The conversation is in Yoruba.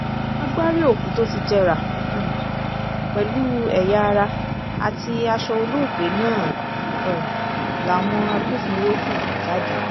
agbárí òkú tó ti jẹrà um pẹ̀lú ẹ̀yà-ara àti aṣọ olóògbé náà um làwọn agbófinró hù jáde